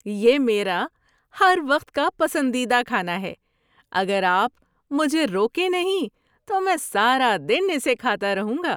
یہ میرا ہر وقت کا پسندیدہ کھانا ہے، اگر آپ مجھے روکیں نہیں تو میں سارا دن اسے کھاتا رہوں گا۔